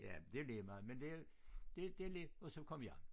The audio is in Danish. Ja men det ligemeget men det det det lidt og så kom jeg